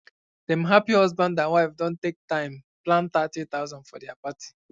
dem happy husband and wife don take time plan 30000 for dia party